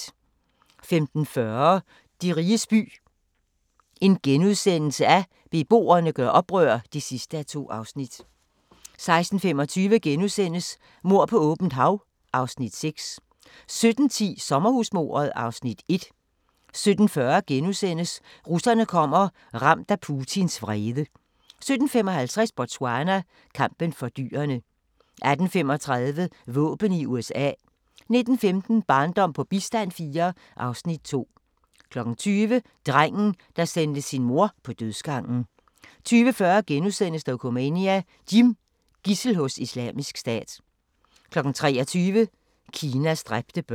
15:40: De riges by – beboerne gør oprør (2:2)* 16:25: Mord på åbent hav (Afs. 6)* 17:10: Sommerhusmordet (Afs. 1) 17:40: Russerne kommer – ramt af Putins vrede * 17:55: Botswana: Kampen for dyrene 18:35: Våben i USA 19:15: Barndom på bistand IV (Afs. 2) 20:00: Drengen, der sendte sin mor på dødsgangen 20:40: Dokumania: Jim - Gidsel hos Islamisk Stat * 23:00: Kinas dræbte børn